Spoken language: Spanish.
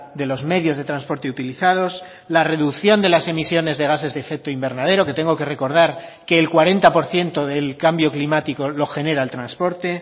de los medios de transporte utilizados la reducción de las emisiones de gases de efecto invernadero que tengo que recordar que el cuarenta por ciento del cambio climático lo genera el transporte